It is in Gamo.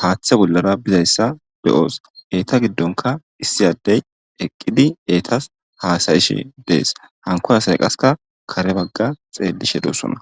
haaththe bollara bizayssa beyoos eeta giddonka issi addey eqqidi eetas haasayishe dees hanko asay qaska kare bagga xeelishe doossona